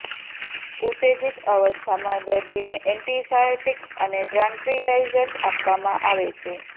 ઉત્તેજિત અવસ્થામાં દર્દીને એન્ટિસાયકોટિક્સ અને ટ્રાંક્વીલાઈઝર્સ આપવામાં આવે છે